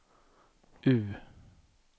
U